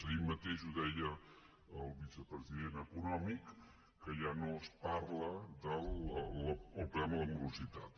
ahir mateix ho deia el vicepresident econòmic que ja no es parla del tema de la morositat